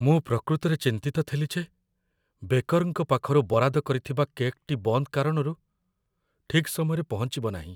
ମୁଁ ପ୍ରକୃତରେ ଚିନ୍ତିତ ଥିଲି ଯେ ବେକର୍‌ଙ୍କ ପାଖରୁ ବରାଦ କରିଥିବା କେକ୍‌ଟି ବନ୍ଦ କାରଣରୁ ଠିକ୍ ସମୟରେ ପହଞ୍ଚିବ ନାହିଁ।